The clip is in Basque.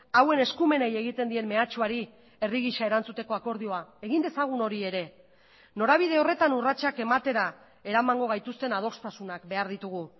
hauen eskumenei egiten dien mehatxuari herri gisa erantzuteko akordioa egin dezagun hori ere norabide horretan urratsak ematera eramango gaituzten adostasunak behar ditugu